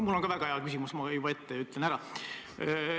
Mul on ka väga hea küsimus, ma ütlen juba ette ära.